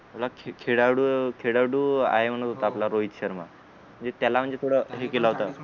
उलट खेळाडू अं खेळाडू आहे म्हणत होता आपला रोहित शर्मा म्हणजे त्याला म्हणजे थोड हे केल होत